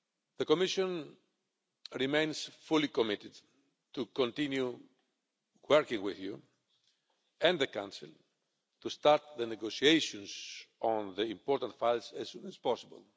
The Commission remains fully committed to continue working with you and the Council to start the negotiations on the important files as soon as possible.